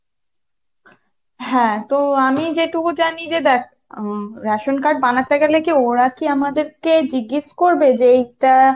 হ্যাঁতো আমি যেটুকু জানি যে দেখ হম ration card গেলে কী ওরা কী আমাদেরকে জিজ্ঞেস করবে যে এটা